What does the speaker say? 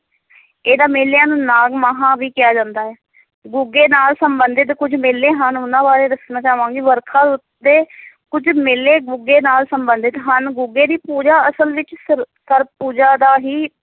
ਇਹਨਾਂ ਮੇਲਿਆਂ ਨੂੰ ਨਾਗ ਮਾਹਾਂ ਵੀ ਕਿਹਾ ਜਾਂਦਾ ਹੈ ਗੁੱਗੇ ਨਾਲ ਸੰਬੰਧਿਤ ਕੁੱਝ ਮੇਲੇ ਹਨ, ਉਹਨਾਂ ਬਾਰੇ ਦੱਸਣਾ ਚਾਹਾਂਗੀ, ਵਰਖਾ ਰੁੱਤ ਦੇ ਕੁੱਝ ਮੇਲੇ ਗੁੱਗੇ ਨਾਲ ਸੰਬੰਧਿਤ ਹਨ, ਗੁੱਗੇ ਦੀ ਪੂਜਾ, ਅਸਲ ਵਿੱਚ ਸਰ~ ਸਰਪ-ਪੂਜਾ ਦਾ ਹੀ